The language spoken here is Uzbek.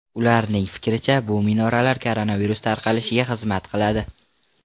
Ularning fikricha, bu minoralar koronavirus tarqalishiga xizmat qiladi.